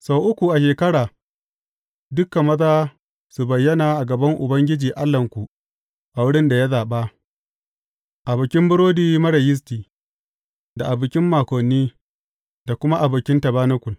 Sau uku a shekara dukan maza su bayyana a gaban Ubangiji Allahnku a wurin da ya zaɓa; a Bikin Burodi Marar Yisti, da a Bikin Makoni, da kuma a Bikin Tabanakul.